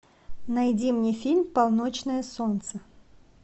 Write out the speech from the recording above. найди мне фильм полночное солнце